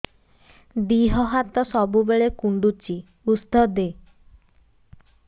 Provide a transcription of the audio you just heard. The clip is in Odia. ଦିହ ହାତ ସବୁବେଳେ କୁଣ୍ଡୁଚି ଉଷ୍ଧ ଦେ